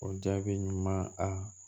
O jaabi ɲuman a